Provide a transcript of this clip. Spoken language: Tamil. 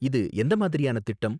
இது எந்த மாதிரியான திட்டம்?